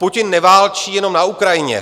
Putin neválčí jenom na Ukrajině.